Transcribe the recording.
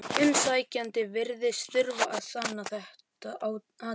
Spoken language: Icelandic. Umsækjandi virðist þurfa að sanna þetta atriði.